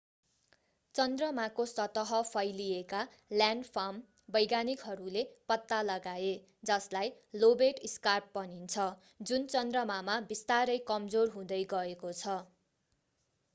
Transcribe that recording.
चन्द्रमाको सतह फैलिएका ल्यान्डफार्म वैज्ञानिकहरूले पत्ता लगाए जसलाई लोबेट स्कार्प भनिन्छ जुन चन्द्रमामा बिस्तारै कमजोर हुँदै गएको छ